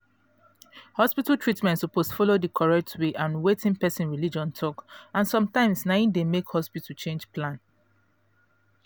hospital treatment suppose follow d correct way and wetin person religion talk and sometimes na e de make hospital change plan